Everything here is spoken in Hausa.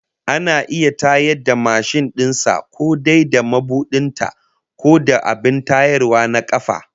Ana iya tayar da mashin din sa ko dai da mabudin ta, ko da abin tayarwa na kafa